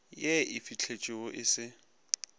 ye e fihletšwego e se